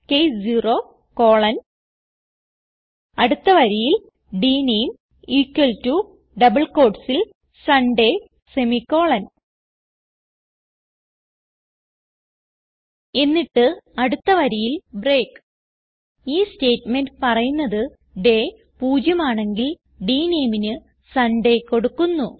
case 0 colon അടുത്ത വരിയിൽ dname equal to double quotesൽ സുണ്ടയ് സെമിക്കോളൻ എന്നിട്ട് അടുത്ത വരിയിൽ ബ്രേക്ക് ഈ സ്റ്റേറ്റ്മെന്റ് പറയുന്നത് ഡേ 0 ആണെങ്കിൽ dNameന് സുണ്ടയ് കൊടുക്കുന്നു